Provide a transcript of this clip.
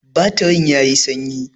Batirin yayi sanyi.